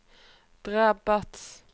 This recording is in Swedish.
drabbas